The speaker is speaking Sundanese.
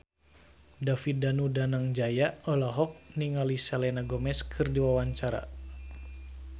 David Danu Danangjaya olohok ningali Selena Gomez keur diwawancara